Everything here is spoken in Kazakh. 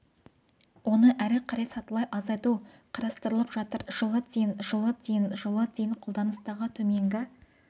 оны әрі қарай сатылай азайту қарастырылып жатыр жылы дейін жылы дейін жылы дейін қолданыстағы төменгі